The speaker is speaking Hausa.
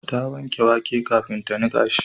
Ta wanke wake kafin ta nika shi